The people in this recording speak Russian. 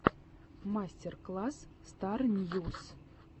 мастер класс стар ньюс